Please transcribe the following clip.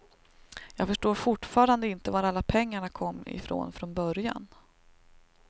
Jag förstår fortfarande inte var alla pengarna kom ifrån från början.